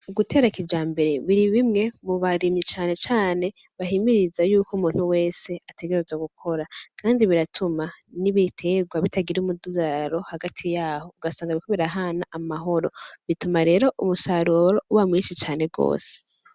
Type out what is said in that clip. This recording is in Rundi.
Ugutera kijambere, biri bimwe mu barimyi cane cane, bahimiriza yuko umuntu wese ategerezwa gukora, kandi biratuma n'ibiterwa bitagira umudugararo hagati yaho, ugasanga biriko birahana amahoro, bituma rero umusaruro uba mwishi cane gose.